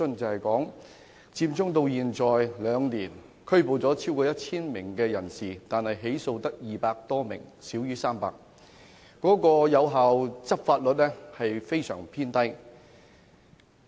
佔中至今已有兩年，合共拘捕超過1000人，但只有200多人被起訴，少於300人，執法率異常偏低。